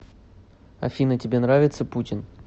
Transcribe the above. афина тебе нравится путин